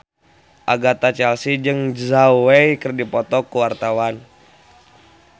Agatha Chelsea jeung Zhao Wei keur dipoto ku wartawan